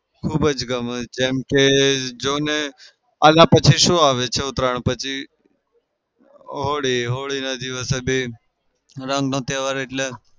ખૂબ જ ગમે જેમ કે જોને આના પછી શું આવે છે ઉતરાયણ પછી? હોળી હોળીના દિવસ એ બી રંગનો તહેવાર એટલે